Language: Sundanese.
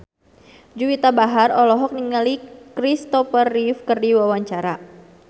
Juwita Bahar olohok ningali Kristopher Reeve keur diwawancara